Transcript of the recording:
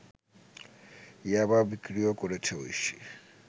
ইয়াবা বিক্রিও করেছে ঐশী